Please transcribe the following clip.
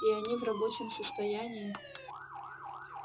и они в рабочем состоянии